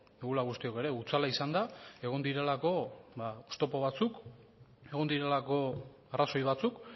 dugula guztiok ere hutsala izan da egon direlako ba oztopo batzuk egon direlako arrazoi batzuk